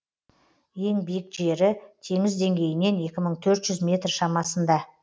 ең биік жері теңіз деңгейінен екі мың төрт жүз метр шамасында